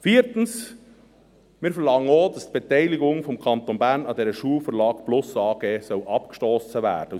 Viertens: Wir verlangen auch, dass die Beteiligung des Kantons Bern an dieser Schulverlag plus AG abgestossen werden soll.